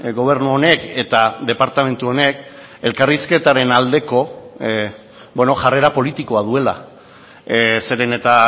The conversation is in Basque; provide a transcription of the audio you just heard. gobernu honek eta departamentu honek elkarrizketaren aldeko jarrera politikoa duela zeren eta